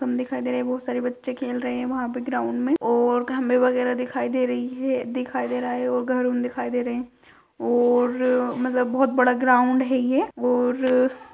कम दिखाई दे रहा है। बोहत सारे बच्चे खेल रहे हैं। वहाँ पे ग्राउंड में और कैमरा वगैरह दिखाई दे रही है दिखाई दे रहा है और घर में दिखाई दे रहे हैं और मतलब बोहत बड़ा ग्राउंड है ये और --